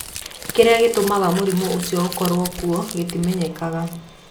Kĩrĩa gĩtũmaga mũrimũ ũcio ũkorũo kuo gĩtimenyekaga.